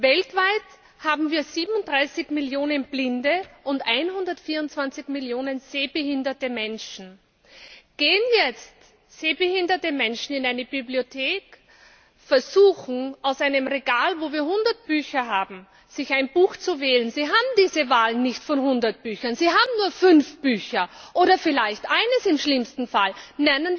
Weltweit haben wir 37 Millionen blinde und 124 Millionen sehbehinderte Menschen. Gehen nun sehbehinderte Menschen in eine Bibliothek und versuchen aus einem Regal, wo wir hundert Bücher haben, ein Buch zu wählen, dann haben sie nicht die Wahl zwischen hundert Büchern, sie haben nur fünf Bücher oder vielleicht im schlimmsten Fall eines.